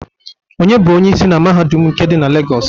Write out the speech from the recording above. Onye bụ Onyeisi na Mahadum nke dị na Legọs?